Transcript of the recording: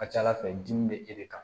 A ka ca ala fɛ dimi bɛ e de kan